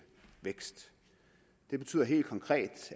vækst det betyder helt konkret